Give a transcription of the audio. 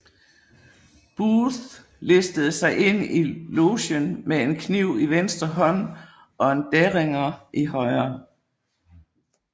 Booth listede sig ind i logen med en kniv i venstre hånd og en Derringer i højre